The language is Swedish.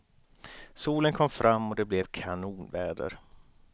Solen kom fram och det blev kanonväder.